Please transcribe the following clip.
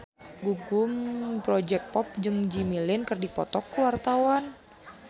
Gugum Project Pop jeung Jimmy Lin keur dipoto ku wartawan